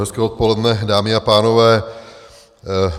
Hezké odpoledne, dámy a pánové.